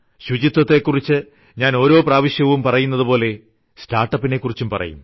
ശുചിത്വത്തെക്കുറിച്ച് ഞാൻ ഓരോ പ്രാവശ്യവും പറയുന്നതുപോലെ സ്റ്റാർട്ട്അപ്പിനെക്കുറിച്ചും പറയും